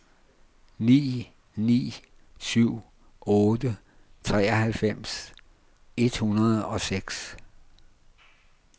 ni ni syv otte treoghalvfems et hundrede og seks